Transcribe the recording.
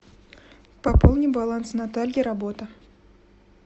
пополни баланс натальи работа